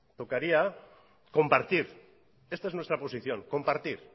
tocaría compartir esta es nuestra posición compartir